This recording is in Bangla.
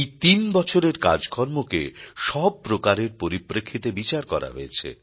এই তিন বছরের কাজকর্মকে সব প্রকারের পরিপ্রেক্ষিতে বিচার করা হয়েছে